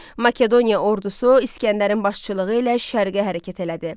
Makedoniya ordusu İsgəndərin başçılığı ilə şərqə hərəkət elədi.